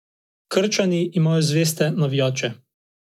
Krčani imajo zveste navijače.